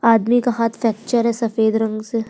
आदमी का हांथ फैक्चर है। सफेद रंग से --